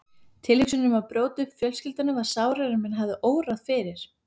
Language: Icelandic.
Tilhugsunin um að brjóta upp fjölskylduna var sárari en mig hafði órað fyrir.